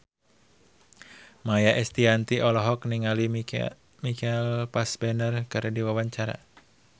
Maia Estianty olohok ningali Michael Fassbender keur diwawancara